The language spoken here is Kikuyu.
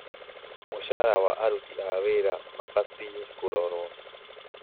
mũcaara wa aruti a wĩra ma batiĩ kũrorwo